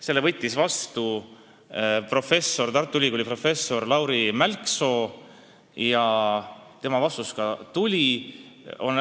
Selle võttis vastu Tartu Ülikooli professor Lauri Mälksoo, tema vastus ka tuli.